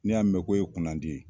N'i y'a mɛn k'o e kunandi ye.